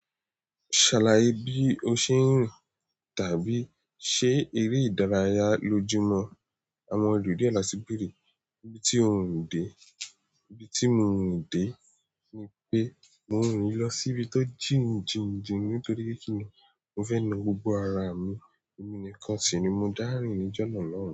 Ṣàlàyé bí o ṣe ń rìn tàbí ṣe eré ìdárayá lójúmọ́. Àwọn olùdíẹ̀ lásìkò rí. Bí tí riń dé, bí tí mi riń dé ni pé mò rín lọ síbi tó jìn jìn jìn nítorí pé mo fẹ́ lọ́ gbo ara mi. Èmi nìkan sì ni mo dárìn níjọ́nà náà.